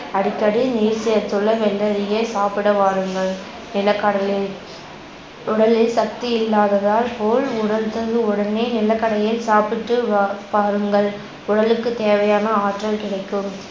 அடிக்கடி நீர் சேர்த்துள்ள வெள்ளரியை சாப்பிட வாருங்கள். நிலக்கடலை உடலில் சக்தி இல்லாததால் போல் உணர்தல் உடனே நிலக்கடையை சாப்பிட்டு வா~ வாருங்கள். உடலுக்கு தேவையான ஆற்றல் கிடைக்கும்